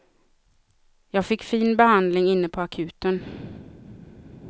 Jag fick fin behandling inne på akuten.